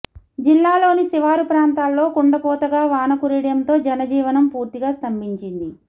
జిల్లాలోని శివారు ప్రాంతాల్లో కుండపోతగా వాన కురియడంతో జన జీవనం పూర్తిగా స్తంభించింది